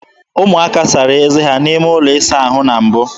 Ụmụaka sara eze ha n'ime ụlọ ịsa ahụ na mbụ.